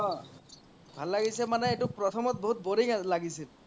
অহ ভাল লাগিছে মানে এইতো প্ৰথমত বহুত boring লাগিছিল